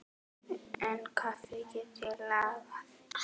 En kaffi get ég lagað.